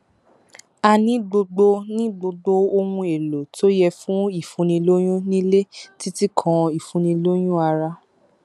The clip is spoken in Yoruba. a ní gbogbo ní gbogbo ohunèlò tó yẹ fún ìfúnnilóyún nílé títí kan ìfúnnilóyún ara